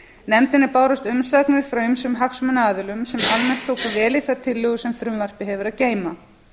nefndinni bárust umsagnir frá ýmsum hagsmunaaðilum sem almennt tóku vel í þær tillögur sem frumvarpið hefur að geyma